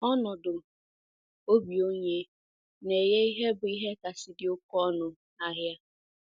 Ọnọdụ obi onye na - enye ihe bụ ihe kasị dị oké ọnụ ahịa.